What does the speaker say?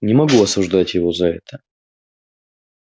не могу осуждать его за это